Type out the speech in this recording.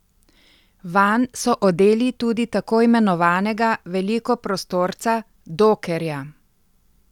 Vanj so odeli tudi tako imenovanega velikoprostorca dokkerja.